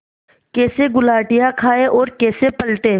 कैसे गुलाटियाँ खाएँ और कैसे पलटें